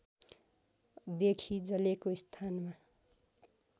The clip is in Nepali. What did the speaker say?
देखि जलेको स्थानमा